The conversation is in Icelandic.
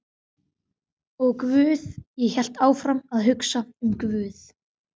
Og guð, ég hélt áfram að hugsa um guð.